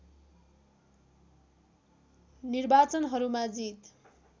निर्वाचनहरूमा जित